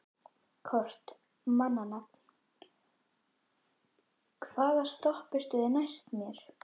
Kort (mannsnafn), hvaða stoppistöð er næst mér?